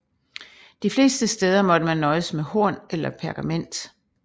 De fleste steder måtte man nøjes med horn eller pergament